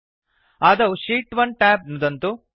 आदौ शीत् 1 ट्याब् नुदन्तु